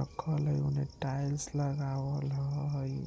रखल हेय उने टाइल्स लगावल हेय।